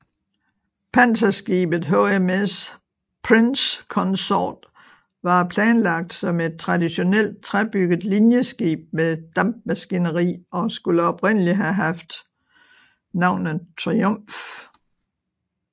Panserskibet HMS Prince Consort var planlagt som et traditionelt træbygget linjeskib med dampmaskineri og skulle oprindelig have haft navnet Triumph